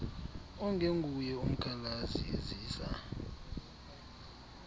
ongenguye umkhalazi ezisa